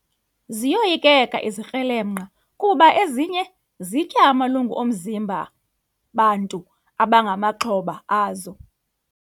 Ziyoyikeka izikrelemnqa kuba ezinye zitya amalungu omzimba bantu abangamaxhoba azo.